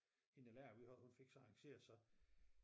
Hende den lærer vi havde hun fik så arrangeret så